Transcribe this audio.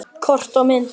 Kort og myndir